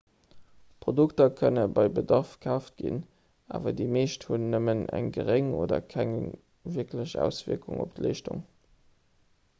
produkter kënne bei bedarf kaaft ginn awer déi meescht hunn nëmmen eng geréng oder keng wierklech auswierkung op d'leeschtung